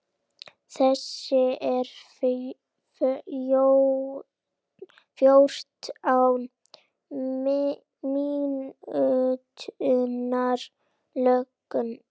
Þessi er fjórtán mínútna löng.